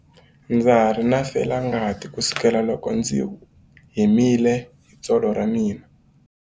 Ndza ha ri na felangati kusukela loko ndzi himile hi tsolo ra mina.